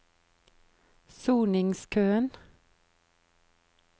soningskøen